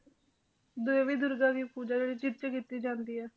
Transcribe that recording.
ਦੇਵੀ ਦੁਰਗਾ ਦੀ ਪੂਜਾ ਜਿਹ 'ਚ ਕੀਤੀ ਜਾਂਦੀ ਹੈ